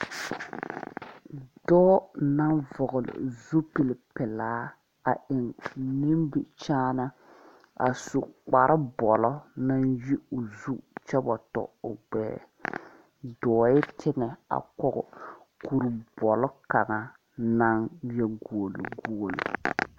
Dͻͻ naŋ vͻgele o zupili pelaa a eŋ o nimbkyaane, a su kpare bͻlͻ naŋ yi ozu kyԑ wa tͻ o gbԑԑ. Dͻͻԑ teŋԑ a kͻge kuri bͻlͻ kaŋa naŋ leԑ guoli guoli.